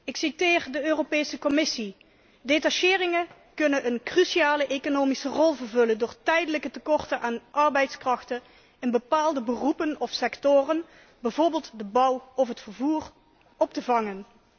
Ik citeer de Europese Commissie Detacheringen kunnen een cruciale economische rol vervullen door tijdelijke tekorten aan arbeidskrachten in bepaalde beroepen of sectoren, bijvoorbeeld de bouw of het vervoer, op te vangen.